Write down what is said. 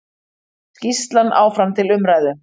Skýrslan áfram til umræðu